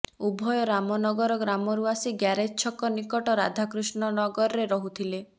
ଉଭୟ ରାମନଗର ଗ୍ରାମରୁ ଆସି ଗ୍ୟାରେଜ୍ ଛକ ନିକଟ ରାଧାକୃଷ୍ଣନଗରରେ ରହୁଥିଲେ